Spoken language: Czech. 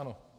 Ano.